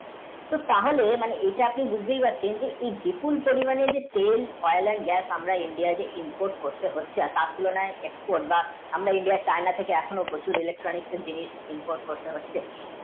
তাহলে এটা আপনি বুঝতেই পারছেন কী প্রচুর পরিমাণে আমরা তেল oil and gas আমরা India কে import করতে হচ্ছে তার তুলনায় export বা আমরা China থেকে প্রচুর electronics এর জিনিস import করতে হচ্ছে।